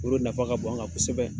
Olu nafa ka bon an kan kosɛbɛ